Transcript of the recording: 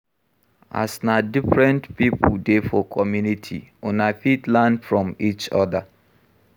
As na different pipo dey for community, una fit learn from each oda